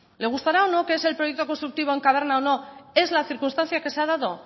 le gustará o no lo que es el proyecto constructivo en caverna o no es la circunstancia que se ha dado